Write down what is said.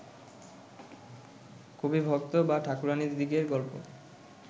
কবি, ভক্ত বা ঠাকুরাণীদিদিগের গল্প